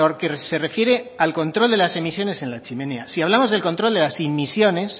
que se refiere al control de las emisiones en la chimenea si hablamos del control de las emisiones